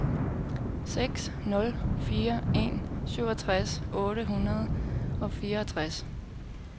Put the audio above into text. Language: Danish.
seks nul fire en syvogtres otte hundrede og fireogtres